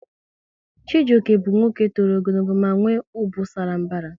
Chijioke bụ nwoke tọrọ ogologo ma nwe ubu sara mbara